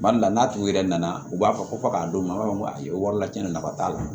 Kuma dɔ la n'a tigi yɛrɛ nana u b'a fɔ ko fɔ ka d'u ma u b'a fɔ ko ayi wari lacɛn nafa t'a la